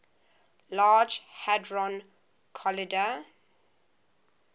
large hadron collider